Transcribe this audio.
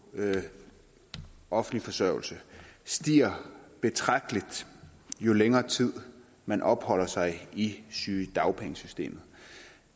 offentlig forsørgelse stiger betragtelig jo længere tid man opholder sig i sygedagpengesystemet